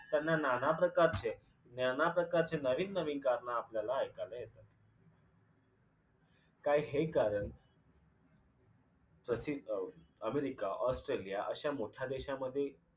त्यांना नाना प्रकारचे नाना प्रकारचे नवीन नवीन कारणं आपल्याला ऐकायला येतात. काय हे कारण प्रथित अ अमेरिका, ऑस्ट्रेलिया अश्या मोठ्या देशामध्ये